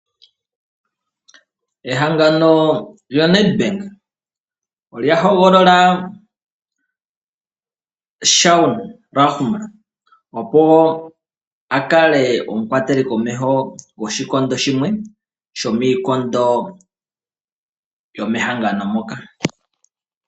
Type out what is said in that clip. Ehangano lyo Nedbank olya hogolola Shaun Lahner, opo akale omukwateli komeho goshikondo shimwe shomiikondo yo mehangano moka.